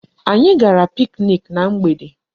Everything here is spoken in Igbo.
Anyị gara picnic na mgbede.